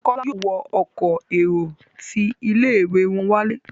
Kola yóò wọ Ọkọ̀ èrò tí ilé-ìwé wón wale.